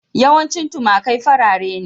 Yawanci tumakai farare ne.